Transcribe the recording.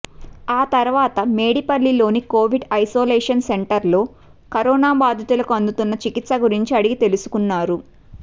ఆతర్వాత మేడిపల్లిలోని Covid isolation సెంటర్లో కరోనా బాధితులకు అందుతున్న చికిత్స గురించి అడిగి తెలుసుకున్నారు